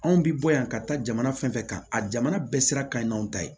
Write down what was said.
Anw bi bɔ yan ka taa jamana fɛn fɛn kan a jamana bɛɛ sira ka ɲi n'anw ta ye